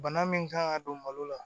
Bana min kan ka don malo la